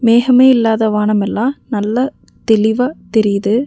மேஹமே இல்லாத வானமெல்லா நல்லா தெளிவா தெரிது.